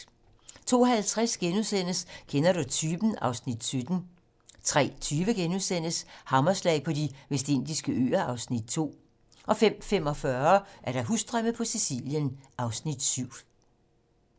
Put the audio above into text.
02:50: Kender du typen? (Afs. 17)* 03:20: Hammerslag på De Vestindiske Øer (Afs. 2)* 05:45: Husdrømme på Sicilien (Afs. 7)